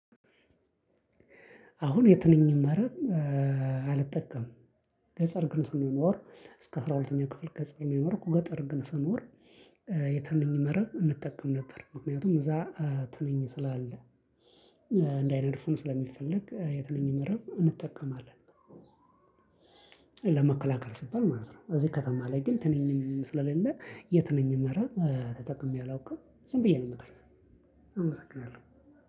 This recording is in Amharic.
አሁን የትኛውንም መረብ አልጠቀምም። ገጠር ግን ስንኖር እስከ አስራ ሁለተኛ ክፍል ገጠር ነው የኖርኩ ገጠር ግን ስኖር የትንኝ መረብ እንጠቀም ነበር። ምክንያቱም እዛ ትንኝ ስላለ እንዳይነድፉን ስለሚፈለግ የትንኝ መረብ እንጠቀማለን። ለመከላከል ሲባል ማለት ነው። እዚህ ከተማ ላይ ግን ትንኝም ስለሌለ የትንኝ መረብ ተጠቅሜ አላውቅም። ዝም ብዬ ነው ምቱኛው አመሰግናለሁ።